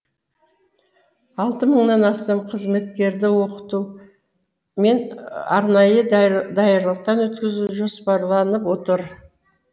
алты мыңнан астам қызметкерді оқыту мен арнайы даярлықтан өткізу жоспарланып отыр